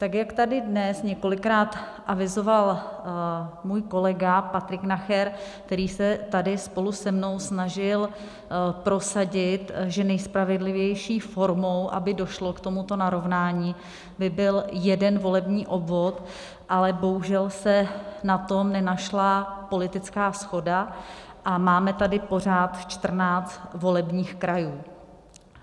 Tak jak tady dnes několikrát avizoval můj kolega Patrik Nacher, který se tady spolu se mnou snažil prosadit, že nejspravedlivější formou, aby došlo k tomuto narovnání, by byl jeden volební obvod, ale bohužel se na to nenašla politická shoda a máme tady pořád 14 volebních krajů.